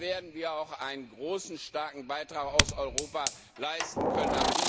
Dann werden wir auch einen großen Beitrag aus Europa leisten können.